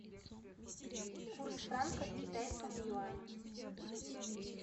курс франка к китайскому юаню